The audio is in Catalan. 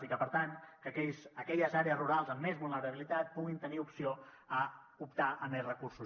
i que per tant aquelles àrees rurals amb més vulnerabilitat puguin tenir opció a optar a més recursos